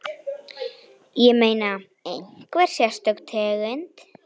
Ég meina, einhver sérstök tegund?